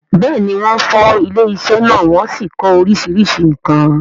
bẹ́ẹ̀ni, wọ́n fọ́ ilé-isẹ́ náà wọ́n sì kó oríṣiríṣi nǹkan.